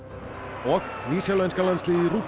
og nýsjálenska landsliðið